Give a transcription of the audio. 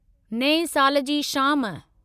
नएं साल जी शाम